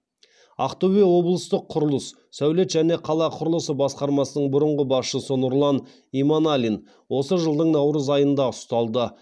ақтөбе облыстық құрылыс сәулет және қала құрылысы басқармасының бұрынғы басшысы нұрлан иманалин осы жылдың наурыз айында ұсталды